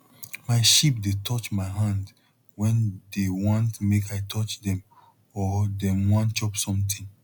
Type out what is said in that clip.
my sheep dey touch my hand wen dey want make i touch dem or dem wan chop somtin